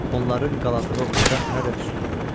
Onların qalağı ocaq hələ də tüstülənirdi.